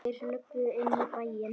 Þeir löbbuðu inn í bæinn.